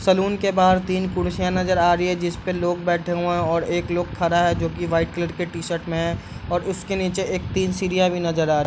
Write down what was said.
salon के बाहर तीन कुर्सियाँ नजर आ रही हैं जिसपे लोग बैठे हुए हैं और एक लोग खड़ा है जो की व्हाइट कलर के टी-शर्ट में है और उसके नीचे एक तीन सीढ़ियाँ भी नजर आ रही --